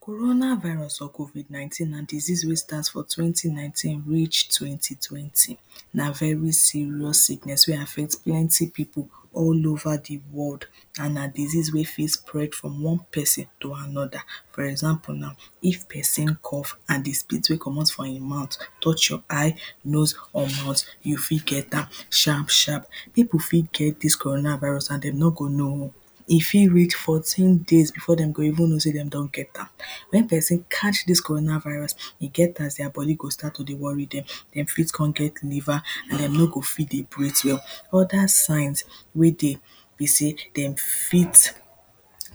Corona virus or covid nineteen na disease wey start from twenty nineteen reach twenty twenty na very serious sickness wey affect plenty people all over di world and na disease wey fit spread from one person to another, for example na if person cough and di spit wey comot from im mouth touch your eye, nose or mouth, you fit get am sharp sharp. People fit get dis corona virus and dem no go know E fit reach fourteen days before dem go even know sey dem don get am. Wen person catch dis corona virus, e get as their body go begin to worry dem dem fit come get fever, dem no go fit dey breathe well. Other signs wey dey be sey dem fit